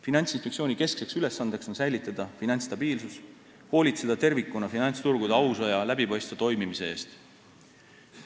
Finantsinspektsiooni keskne ülesanne on säilitada finantsstabiilsus ning hoolitseda tervikuna finantsturgude ausa ja läbipaistva toimimise eest.